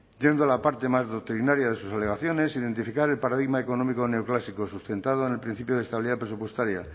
siendo la parte más doctrinaria de sus obligaciones identificar el paradigma económico neoclásico sustentado en el principio de estabilidad presupuestaria